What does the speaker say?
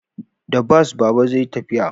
Da bas Baba zai yi tafiya